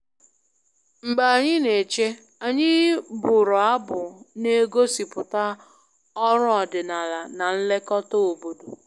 Mgbe anyị na-eche, anyị bụrụ abụ na-egosipụta ọrụ ọdịnala na nlekọta obodo